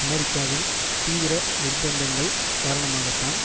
அமெரிக்காவின் தீவிர நிர்பந்தங்கள் காரணமாகத்தான்